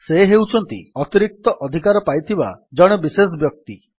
ସେ ହେଉଛନ୍ତି ଅତିରିକ୍ତ ଅଧିକାର ପାଇଥିବା ଜଣେ ବିଶେଷ ବ୍ୟକ୍ତି